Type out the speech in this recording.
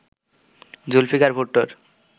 Zulfikar ভুট্টোর